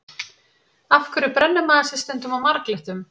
Af hverju brennir maður sig stundum á marglyttum?